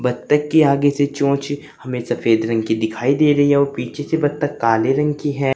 बत्तख की आगे से चोंच हमे सफेद रंग की दिखाई दे रही है और पीछे से बत्तख काले रंग के है।